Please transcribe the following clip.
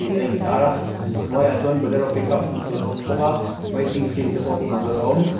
tih a intâr a a hnuaiah bolero pickup hmuh tûr bawk a waiting seat te pawh hmuh tûr a awm.